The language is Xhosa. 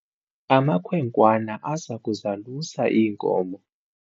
amakhwenkwana aza kuzalusa iinkomo